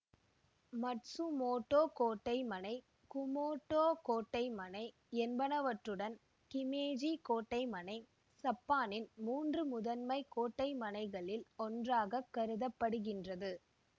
Matsumoto கோட்டைமனை Kumamoto கோட்டைமனை என்பனவற்றுடன் கிமேஜி கோட்டைமனை சப்பானின் மூன்று முதன்மை கோட்டைமனைகளில் ஒன்றாக கருத படுகின்றது